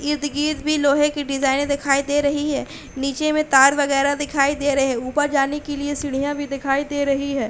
इर्द-गिर्द भी लोहे की डिजाइने दिखाई दे रही है। नीचे में तार वगैरा दिखाई दे रहे हैं। ऊपर जाने के लिए सीढ़ियाँ भी दिखाई दे रही हैं।